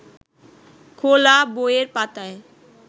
খোলা বইয়ের পাতায়